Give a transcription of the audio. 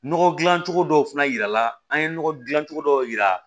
Nɔgɔ dilan cogo dɔw fana yirala an ye nɔgɔ dilan cogo dɔw yira